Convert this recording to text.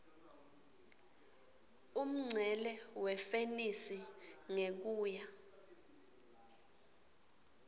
umncele wefenisi ngekuya